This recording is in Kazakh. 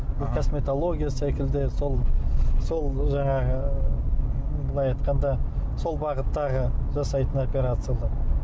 бұл косметология секілді сол сол жаңағы былай айтқанда сол бағыттағы жасайтын опперациялар